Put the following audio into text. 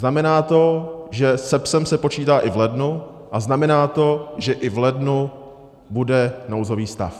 Znamená to, že s PES se počítá i v lednu, a znamená to, že i v lednu bude nouzový stav.